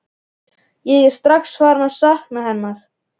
Ég er strax farinn að sakna hennar.